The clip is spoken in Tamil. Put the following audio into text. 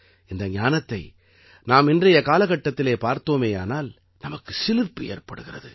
இந்த ஞானத்தை நாம் இன்றைய காலகட்டத்திலே பார்த்தோமேயானால் நமக்கு சிலிர்ப்பு ஏற்படுகிறது